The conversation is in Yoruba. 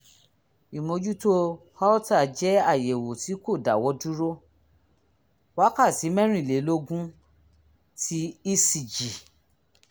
ìmójútó holter jẹ́ àyẹ̀wò tí kò dáwọ́ dúró wákàtí mẹ́rìnlélógún ti ecg